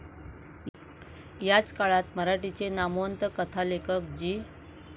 याच काळात मराठीचे नामवंत कथालेखक जी.